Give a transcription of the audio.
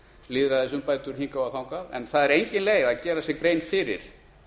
lýðræðisumbætur hingað og þangað en það er engin leið að gera sér grein fyrir